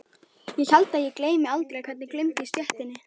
Ég held að ég gleymi aldrei hvernig glumdi í stéttinni.